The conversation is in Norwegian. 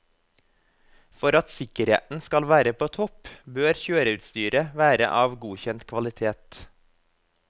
For at sikkerheten skal være på topp, bør kjøreutstyret være av godkjent kvalitet.